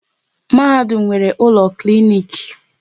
Mahadum nwere ụlọ klinik